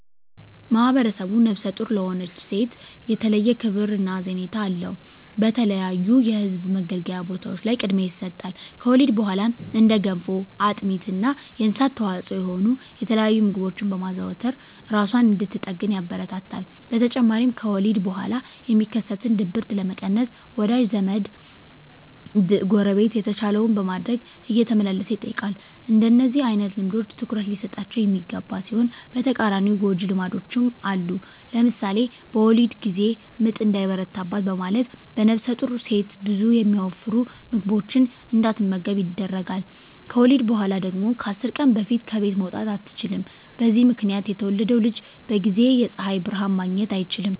ማህብረሰቡ ነፍሰ ጡር ለሆነች ሴት የተለየ ክብር እና ሀዘኔታ አለው። በተለያዩ የህዝብ መገልገያ ቦታዎች ላይ ቅድሚያ ይሰጣል። ከወሊድ በኋላም እንደ ገንፎ፣ አጥሚት እና የእንስሳት ተዋፅዖ የሆኑ የተለያዩ ምግቦችን በማዘውተር እራሷን እንድትጠግን ያበረታታል። በተጨማሪም ከወሊድ በኋላ የሚከሰትን ድብርት ለመቀነስ ወዳጅ ዘመ፣ ጎረቤት የተቻለውን በማድረግ እየተመላለሰ ይጠይቃል። እንደነዚህ አይነት ልምዶች ትኩረት ሊሰጣቸው የሚገባ ሲሆን በተቃራኒው ጎጅ ልማዶችም አሉ። ለምሳሌ በወሊድ ጊዜ ምጥ እንዳይበረታ በማለት ነፍሰጡር ሴት ብዙ የሚያወፍሩ ምግቦችን እንዳትመገብ ይደረጋል። ከወሊድ በኋላ ደግሞ ከ10 ቀን በፊት ከቤት መውጣት አትችልም። በዚህ ምክንያት የተወለደው ልጅ በጊዜ የፀሀይ ብርሀን ማግኘት አይችልም።